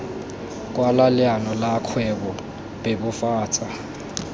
kwala leano la kgwebo bebofatsa